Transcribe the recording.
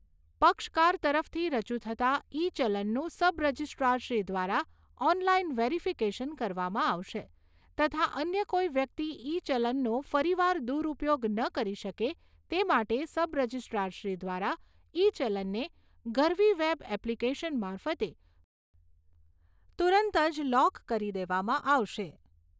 પક્ષકાર તરફથી રજુ થતા ઇ ચલનનું સબ રજિસ્ટ્રારશ્રી દ્વારા ઓનલાઇન વેરીફિકેશન કરવામાં આવશે તથા અન્ય કોઈ વ્યક્તિ ઇ ચલનનો ફરી વાર દુરઉપયોગ ન કરી શકે તે માટે સબ રજિસ્ટ્રારશ્રી દ્વારા ઇ ચલનને ગરવી વેબ એપ્લિકેશન મારફતે તુરંત જ લોક કરી દેવામાં આવશે.